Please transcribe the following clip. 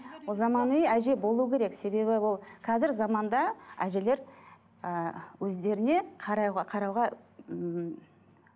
заманауи әже болу керек себебі ол қазір заманда әжелер і өздеріне қарауға ммм